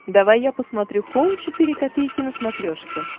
давай я посмотрю хоум четыре ка на смотрешке